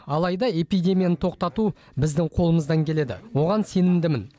алайда эпидемияны тоқтату біздің қолымыздан келеді оған сенімдімін